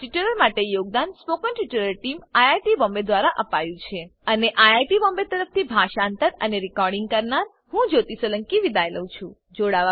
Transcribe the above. આ ટ્યુટોરીયલ માટે યોગદાન spoken tutorial team IIT Bombay દ્વારા અપાયું છે અને આઈઆઈટી બોમ્બે તરફથી હું જ્યોતી સોલંકી વિદાય લઉં છું